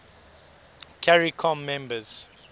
caricom members